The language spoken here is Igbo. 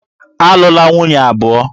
Alụla nwunye abụọ!